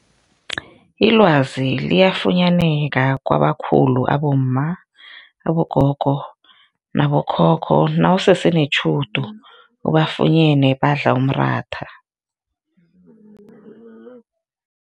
Ilwazi liyafunyaneka kwabakhulu abomma, abogogo nabokhokho nawusese netjhudu ubafunyene badla umratha.